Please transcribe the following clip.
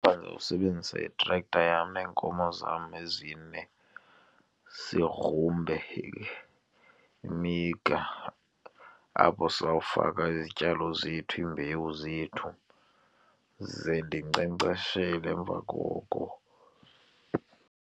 Ndizawusebenzisa itrektha yam neenkomo zam ezine, sigrumbe imigca apho siza kufaka izityalo zethu, iimbewu zethu ze ndinkcenkceshele emva koko.